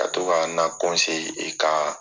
Ka to ka na e kaa